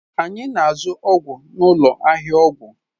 Anyị na-azụ ọgwụ n'ụlọ ahịa ọgwụ